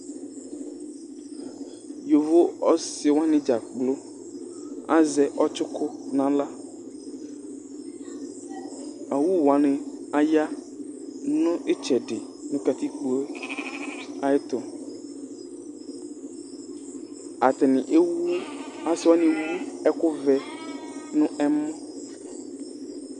yovo ɔsi wʋani dza kpoo azɛ ɔtsuku n'aɣla, awu wʋani aya nu itsɛdi nu katikpoe ayɛtu, ata ni ewu, asi wʋani ewu ɛku vɛ nu ɛmɔ